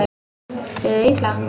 Liðið illa?